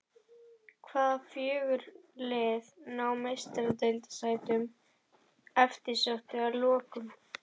Hvaða fjögur lið ná Meistaradeildarsætunum eftirsóttu að lokum?